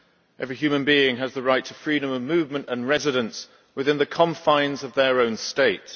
Every human being has the right to freedom of movement and residence within the confines of their own state.